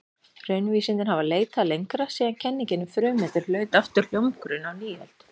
Raunvísindin hafa leitað lengra síðan kenningin um frumeindir hlaut aftur hljómgrunn á nýöld.